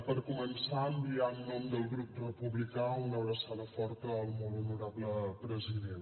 per començar enviar en nom del grup republicà una abraçada forta al molt honorable president